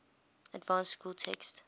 advanced school text